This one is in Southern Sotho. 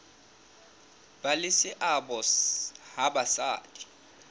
ba le seabo ha basadi